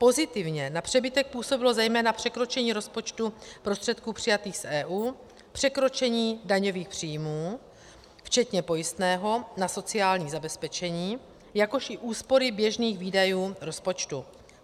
Pozitivně na přebytek působilo zejména překročení rozpočtu prostředků přijatých z EU, překročení daňových příjmů včetně pojistného na sociální zabezpečení, jakož i úspory běžných výdajů rozpočtu.